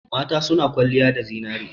Mata suna kwalliya da zinare.